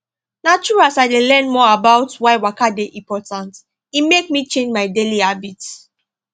na true as i learn more about why waka dey important e make me change my daily habits